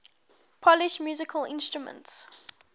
polish musical instruments